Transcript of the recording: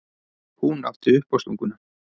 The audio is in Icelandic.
Hún átti uppástunguna.